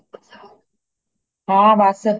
ਹੈ ਬੱਸ